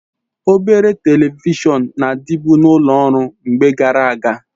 Obere Televishọn n'adibu n'ulo ọrụ mgbe gara aga